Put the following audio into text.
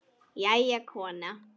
Jæja, kona.